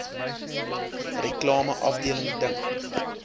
reklame afdeling dink